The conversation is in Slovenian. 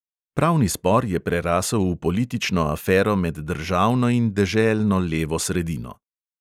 Pravni spor je prerasel v politično afero med državno in deželno levo sredino.